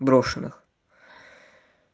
брошенных